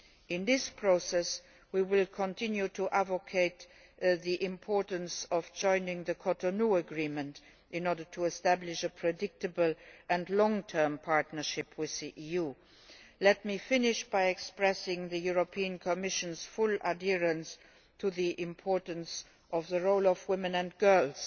In this process we will continue to advocate the importance of joining the Cotonou Agreement in order to establish a predictable and long term partnership with the EU. Let me finish by expressing the European Commission's full adherence to the importance of the role of women and girls